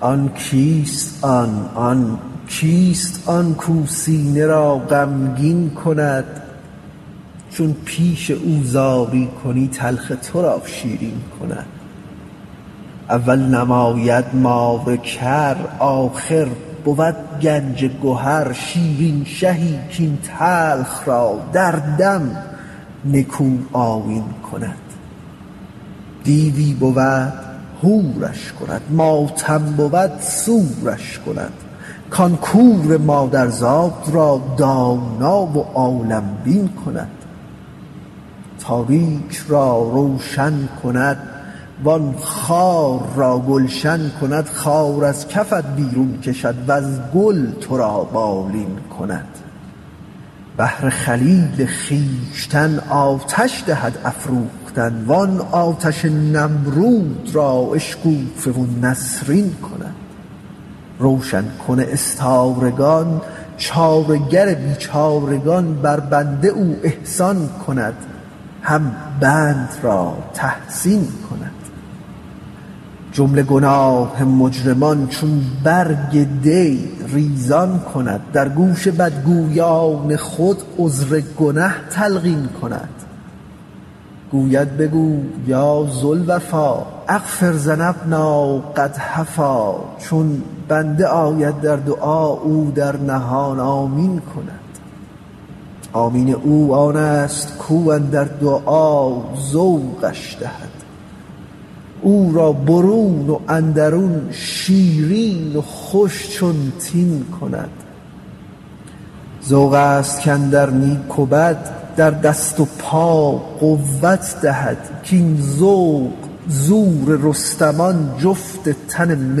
آن کیست آن آن کیست آن کاو سینه را غمگین کند چون پیش او زاری کنی تلخ تو را شیرین کند اول نماید مار کر آخر بود گنج گهر شیرین شهی کاین تلخ را در دم نکوآیین کند دیوی بود حورش کند ماتم بود سورش کند وان کور مادرزاد را دانا و عالم بین کند تاریک را روشن کند وان خار را گلشن کند خار از کفت بیرون کشد وز گل تو را بالین کند بهر خلیل خویشتن آتش دهد افروختن وان آتش نمرود را اشکوفه و نسرین کند روشن کن استارگان چاره گر بیچارگان بر بنده او احسان کند هم بند را تحسین کند جمله گناه مجرمان چون برگ دی ریزان کند در گوش بدگویان خود عذر گنه تلقین کند گوید بگو یا ذا الوفا اغفر لذنب قد هفا چون بنده آید در دعا او در نهان آمین کند آمین او آنست کاو اندر دعا ذوقش دهد او را برون و اندرون شیرین و خوش چون تین کند ذوق ست کاندر نیک و بد در دست و پا قوت دهد کاین ذوق زور رستمان جفت تن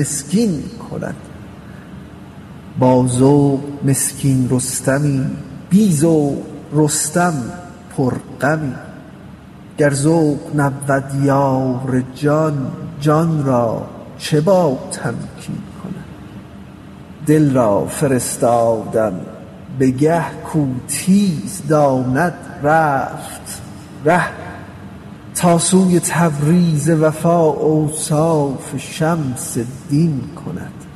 مسکین کند با ذوق مسکین رستمی بی ذوق رستم پرغمی گر ذوق نبود یار جان جان را چه باتمکین کند دل را فرستادم به گه کاو تیز داند رفت ره تا سوی تبریز وفا اوصاف شمس الدین کند